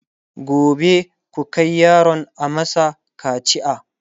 gobe ku Kai yaron a masa kacia!